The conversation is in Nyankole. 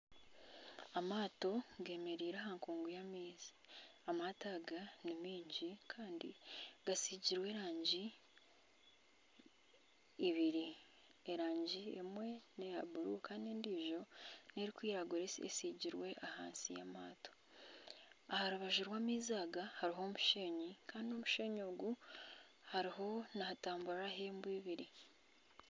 Amaato gemereire aha kungu y'amaizi amaato aga ni maigi kandi gasigirwe erangi ibiri erangi emwe neya bururu kandi endiijo nerikwiragura esiigirwe ahansi y'amaato aha rubaju rw'amaizi aga hariho omusheenyi Kandi omusheenyi ogu hariho nihatamburiraho ente ibiri